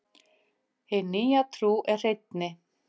Hin nýja trú er hreinni.